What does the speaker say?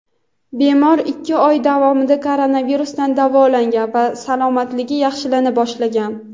bemor ikki oy davomida koronavirusdan davolangan va salomatligi yaxshilana boshlagan.